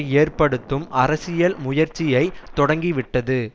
ஏற்படுத்தும் அரசியல் முயற்சியை தொடங்கி விட்டது